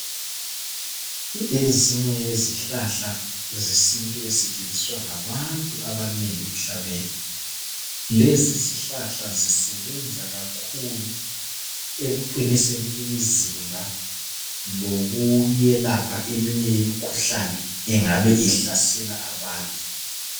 Ezinye yezihlahla zesintu esetshenziswa ngabantu abanengi emhlabeni. Lezi zihlahla zisebenza kakhulu ekuqiniseni imizimba lokuyelapha eminye imikhuhlane engabe ihlasela abantu.